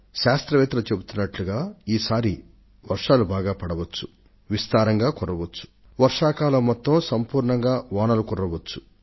శాస్త్రవేత్తలు వేస్తున్న అంచనాల ప్రకారం ఈ సారి మంచి వర్షాలు అవీ విస్తారంగా వానాకాలం అంతా కూడా కురవాలి